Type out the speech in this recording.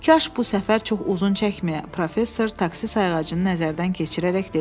Kaş bu səfər çox uzun çəkməyə, professor taksi sayğacını nəzərdən keçirərək dedi.